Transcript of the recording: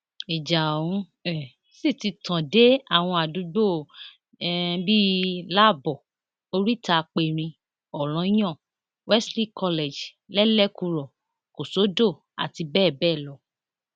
ìjà ọhún um sì ti tàn dé àwọn àdúgbò um bíi lábọ orítaaperín ọranyàn wesley college lẹlẹkúrò kòsódò àti bẹẹ bẹẹ lọ